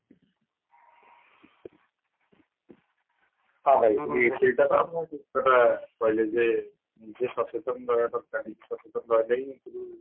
ହଁ ଭାଇ ସେଇଟାତ ଆପଣ ଠିକକଥା କହିଲେ ଯେ ନିଜେ ସଚେତନ ରହିବା ଦରକାର ନିଜେ ସଚେତନ ରହିଲେ ହିଁ ଯାଇକିରି